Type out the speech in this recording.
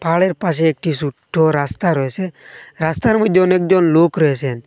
পাহাড়ের পাশে একটি সুট্ট রাস্তা রয়েসে রাস্তার মইদ্যে অনেকজন লোক রয়েসেন ।